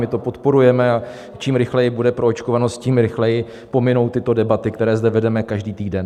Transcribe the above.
My to podporujeme, a čím rychleji bude proočkovanost, tím rychleji pominou tyto debaty, které zde vedeme každý týden.